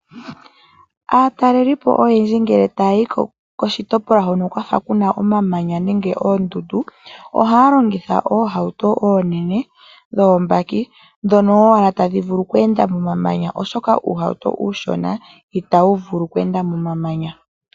Aatalelipo oyendji ngele ta ya yi koshitopolwa hono kwa fa ku na omamanya nenge oondundu, ohaya longitha oohauto ndhi oonene ano oobaki ndhono tadhi vulu oku enda momamanya oshoka uuhauto uushona itawu vulu oku enda momamanya.